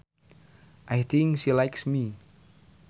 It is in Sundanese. I think she likes me